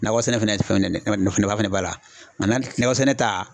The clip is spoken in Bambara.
Nakɔ sɛnɛ fɛnɛ ye fɛn min ye nafa nafa fɛnɛ b'a la nga nakɔ sɛnɛ ta